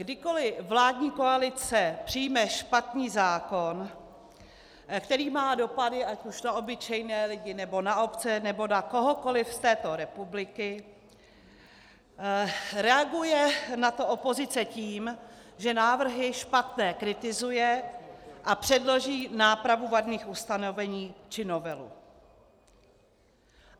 Kdykoli vládní koalice přijme špatný zákon, který má dopady ať už na obyčejné lidi, nebo na obce, nebo na kohokoli z této republiky, reaguje na to opozice tím, že návrhy špatné kritizuje a předloží nápravu vadných ustanovení či novelu.